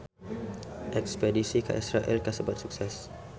Espedisi ka Israel kasebat sukses